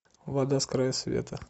вода с края света